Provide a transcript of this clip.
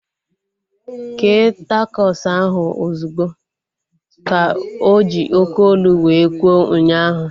Kee takos ahu ozugbo! Ka oji oké olu wee kwuo ụnyaahụ